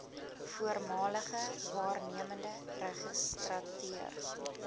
voormalige waarnemende registrateur